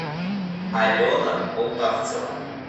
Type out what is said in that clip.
алена полтавцева